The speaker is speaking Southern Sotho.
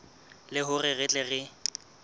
le hore re tle re